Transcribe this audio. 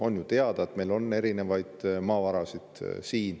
On ju teada, et meil on erinevaid maavarasid.